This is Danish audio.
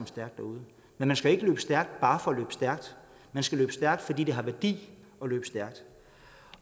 stærkt derude men man skal ikke løbe stærkt bare for at løbe stærkt man skal løbe stærkt fordi det har værdi at løbe stærkt